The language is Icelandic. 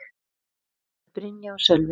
Þau eru: Brynja og Sölvi.